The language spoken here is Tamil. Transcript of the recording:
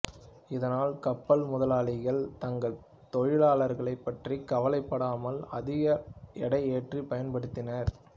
இதனால் கப்பல் முதலாளிகள் தங்கள் தொழிலாளர்களைப் பற்றி கவலைப் படாமல் அதிக எடை ஏற்றிப் பயன்படுத்தினார்